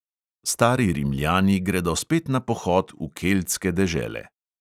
Stari rimljani gredo spet na pohod v keltske dežele.